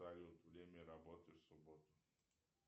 салют время работы в субботу